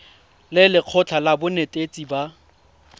le lekgotlha la banetetshi ba